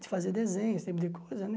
De fazer desenho, esse tipo de coisa, né?